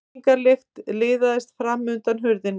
Reykingalykt liðaðist fram undan hurðinni.